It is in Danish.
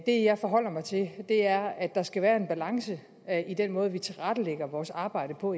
det jeg forholder mig til er at der skal være en balance i den måde vi tilrettelægger vores arbejde på